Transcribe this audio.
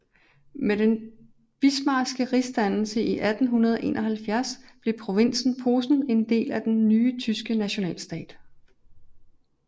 Med den Bismarckske rigsdannelse i 1871 blev provinsen Posen en del af den nye tyske nationalstat